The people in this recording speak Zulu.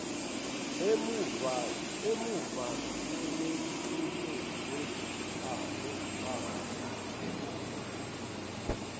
emumva sebemnike nezimpama